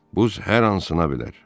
Buz hər an sına bilər.